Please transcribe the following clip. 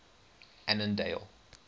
annandale